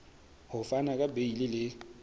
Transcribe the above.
ho fana ka beile le